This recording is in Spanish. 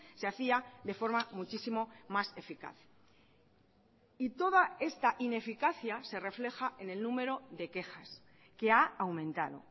se hacía de forma muchísimo más eficaz y toda esta ineficacia se refleja en el número de quejas que ha aumentado